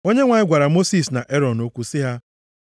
Onyenwe anyị gwara Mosis na Erọn okwu sị ha,